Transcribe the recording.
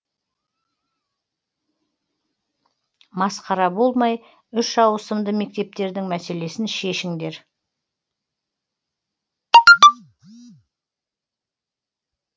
масқара болмай үш ауысымды мектептердің мәселесін шешіңдер